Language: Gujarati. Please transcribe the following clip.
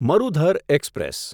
મરુધર એક્સપ્રેસ